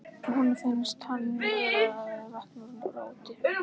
Honum finnst hann vera að vakna úr roti.